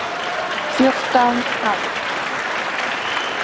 Fjórtán ár!